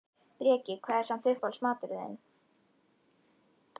Breki: Hvað er samt uppáhalds maturinn þinn?